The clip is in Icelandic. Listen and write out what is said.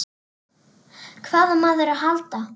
Hvað á maður að halda?